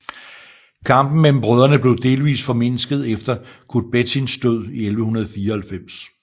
Kampen mellem brødrene blev delvist formindsket efter Kutbettins død i 1194